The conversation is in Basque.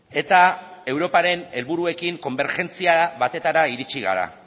eta europaren helburuekin konbergentzia batetara iritsi gara